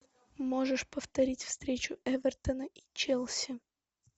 можешь повторить встречу эвертона и челси